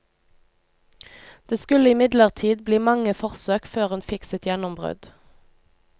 Det skulle imidlertid bli mange forsøk før hun fikk sitt gjennombrudd.